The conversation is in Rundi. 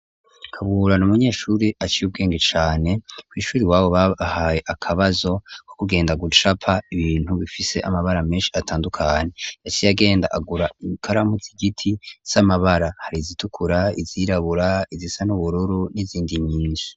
Kaburana umunyeshure aca agira ubwenge cane ku ishuri iwabo babahaye akabazo ko kugenda gucapa ibintu bifise amabara menshi atandukanye yaciye agenda agura ikaramu zigiti z'amabara hari zitukura, izirabura, izisa n'ubururu n'izindi nyinshi.